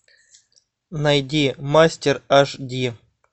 найди мастер аш ди